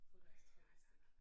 Få deres tredje stik